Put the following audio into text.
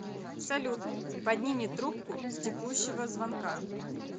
салют подними трубку с текущего звонка